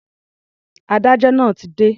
Adájọ́ náà ti dé.